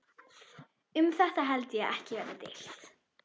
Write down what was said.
Um þetta held ég að ekki verði deilt.